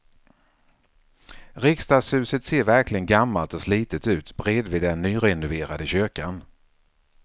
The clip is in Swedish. Riksdagshuset ser verkligen gammalt och slitet ut bredvid den nyrenoverade kyrkan.